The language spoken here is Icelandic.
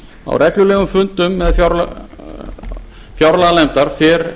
á reglulegum fundum fjárlaganefndar fer